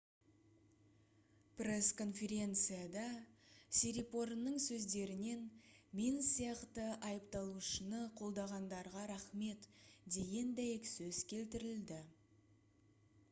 пресс-конференцияда сирипорнның сөздерінен «мен сияқты айыпталушыны қолдағандарға рахмет» деген дәйексөз келтірілді